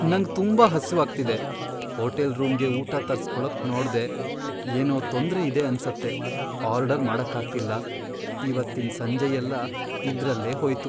ನಂಗ್ ತುಂಬಾ ಹಸ್ವಾಗ್ತಿದೆ, ಹೋಟೆಲ್ ರೂಮ್ಗೇ ಊಟ ತರ್ಸ್ಕೊಳಕ್ ನೋಡ್ದೆ, ಏನೋ ತೊಂದ್ರೆ ಇದೆ ಅನ್ಸತ್ತೆ, ಆರ್ಡರ್ ಮಾಡಕ್ಕಾಗ್ತಿಲ್ಲ. ಇವತ್ತಿನ್ ಸಂಜೆಯೆಲ್ಲ ಇದ್ರಲ್ಲೇ ಹೋಯ್ತು.